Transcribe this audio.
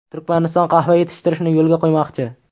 Turkmaniston qahva yetishtirishni yo‘lga qo‘ymoqchi.